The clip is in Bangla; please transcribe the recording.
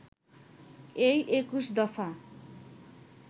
এই ২১ দফা